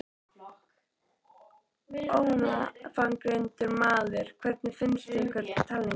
Ónafngreindur maður: Hvernig fannst ykkur talningin?